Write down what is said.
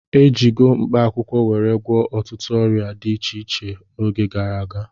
E jigo mkpaakwụkwọ were gwọọ ọtụtụ ọrịa dị iche iche oge gara aga